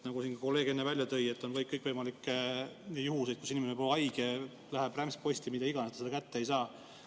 Nagu siin kolleeg enne välja tõi, on kõikvõimalikke juhtumeid, kus inimene on haige, teade läheb rämpsposti – mida iganes, ta seda kätte ei saa.